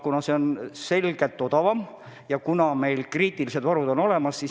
Kuna see on selgelt odavam ja kuna kriitilised varud on olemas.